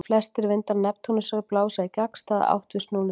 Flestir vindar Neptúnusar blása í gagnstæða átt við snúningsáttina.